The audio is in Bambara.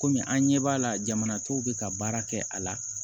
Komi an ɲɛ b'a la jamana tɔw bɛ ka baara kɛ a la